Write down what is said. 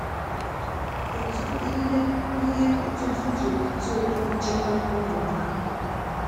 kedụ ihe ihe ọtụtụ ji atụrụ nchekwa ụmụ ha?